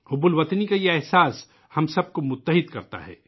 حب الوطنی کا یہ جذبہ ہم سب کو جوڑتا ہے